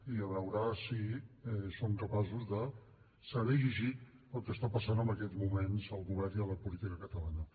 i a veure si són capaços de saber llegir el que està passant en aquests moments al govern i a la política catalana